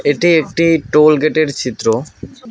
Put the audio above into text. এটি একটি টোল গেটের চিত্র।